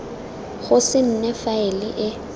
go se nne faele e